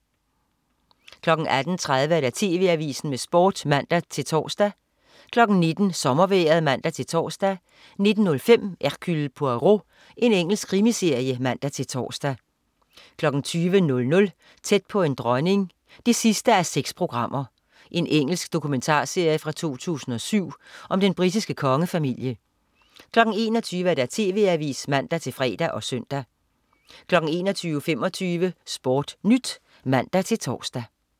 18.30 TV Avisen med Sport (man-tors) 19.00 Sommervejret (man-tors) 19.05 Hercule Poirot. Engelsk krimiserie (man-tors) 20.00 Tæt på en dronning 6:6. Engelsk dokumentarserie fra 2007 om den britiske kongefamilie 21.00 TV Avisen (man-fre og søn) 21.25 SportNyt (man-tors)